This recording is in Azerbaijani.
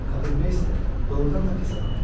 Kapelmeyster doğurdan da pis adam imiş.